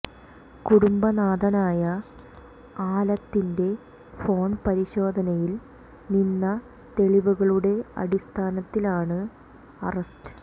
കുടുംബ നാഥനായ ആലത്തിന്റെ ഫോൺ പരിശോധനയിൽ നിന്ന തെളിവുകളുടെ അടിസ്ഥാനത്തിലാണ് അറസ്റ്റ്